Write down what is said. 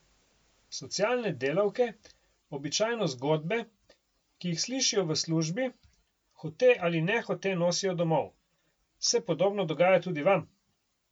Socialne delavke običajno zgodbe, ki jih slišijo v službi, hote ali nehote nosijo domov, se podobno dogaja tudi vam?